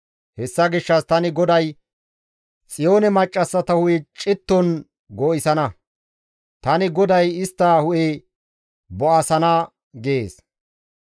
Hessa gishshas tani GODAY Xiyoone maccassata hu7e citton goo7issana; tani GODAY istta hu7e bo7asana» gees.